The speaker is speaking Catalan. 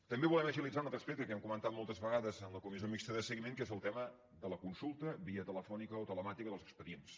també volem agilitzar un altre aspecte que hem comentat moltes vegades a la comissió mixta de seguiment que és el tema de la consulta via telefònica o telemàtica dels expedients